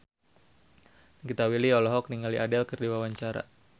Nikita Willy olohok ningali Adele keur diwawancara